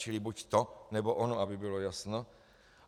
Čili buď to, nebo ono, aby bylo jasno.